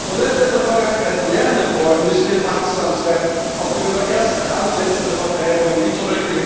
Weil wir aus der Vergangenheit lernen wollen, müssen wir wachsam sein, auch gegenüber ersten Ansätzen von Vertreibungen, wie z.